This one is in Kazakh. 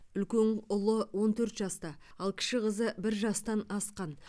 үлкен ұлы он төрт жаста ал кіші қызы бір жастан асқан